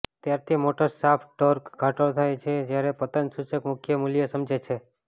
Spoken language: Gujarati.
ત્યારથી મોટર શાફ્ટ ટોર્ક ઘટાડો થાય છે જ્યારે પતન સૂચક મુખ્ય મૂલ્ય સમજે છે